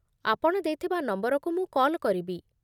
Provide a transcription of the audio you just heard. ଆପଣ ଦେଇଥିବା ନମ୍ବରକୁ ମୁଁ କଲ୍ କରିବି।